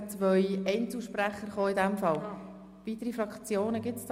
Deshalb frage ich, ob das Wort von weiteren Fraktionssprechern gewünscht wird.